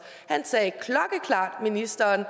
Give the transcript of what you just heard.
ministeren